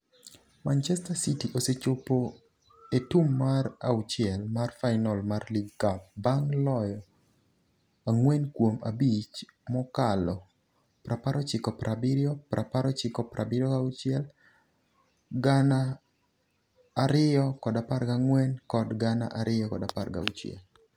Manchester City osechopo e tum mar auchiel mar final mar League Cup bang' loyo ang'wen kuom abich mokalo - 1970, 1976, 2014 kod 2016.